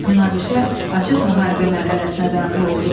Münaqişə açıq müharibə mərhələsinə daxil oldu.